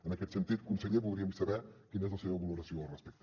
en aquest sentit conseller voldríem saber quina és la seva valoració al respecte